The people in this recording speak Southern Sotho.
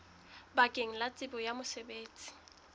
bakeng la tsebo ya mosebetsi